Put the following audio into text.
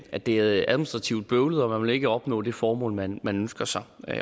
at det er administrativt bøvlet og man ikke vil opnå det formål man ønsker sig